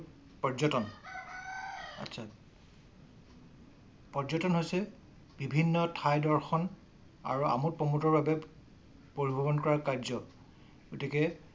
পৰ্যটন। আতচা পৰ্যটন হৈছে বিভিন্ন ঠাই দৰ্শন আৰু আমোদ প্ৰমোদৰ বাবে পৰিভ্ৰমন কৰা কায গতিকে